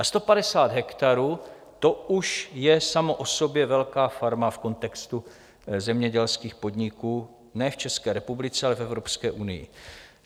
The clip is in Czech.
A 150 hektarů, to už je samo o sobě velká farma v kontextu zemědělských podniků, ne v České republice, ale v Evropské unii.